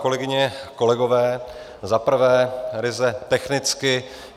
Kolegyně, kolegové, za prvé ryze technicky.